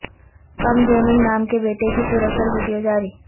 کم Jong نام کے بیٹے کی پراسرار ویڈیو جاری